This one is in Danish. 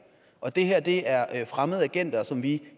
og det her det her er fremmede agenter som vi